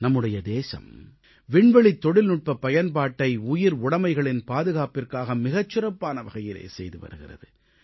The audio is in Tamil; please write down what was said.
நம்முடைய தேசம் விண்வெளித் தொழில்நுட்பப் பயன்பாட்டை உயிர் உடமைகளின் பாதுகாப்பிற்காக மிகச் சிறப்பான வகையிலே செய்து வருகிறது